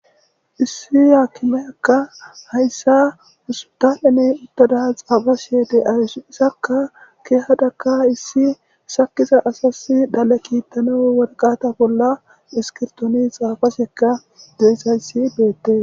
issi haakimeakka hayssa usutaheney uttada xaafashe de'ayus issakka keehadaka issi sakiza asasi dhale kiittanaw worqata bolla iskirtooni xaafasheka de'izayssi beettes